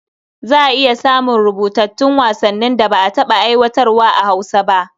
Za a iya samun rubutattun wasannin da ba a taɓa aiwatarwa a Hausa ba.